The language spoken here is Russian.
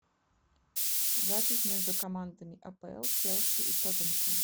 запись между командами апл челси и тоттенхэм